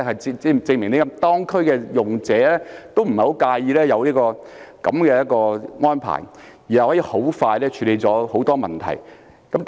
這證明當區的用者也不太介意有此安排，而這安排可以很快處理很多問題。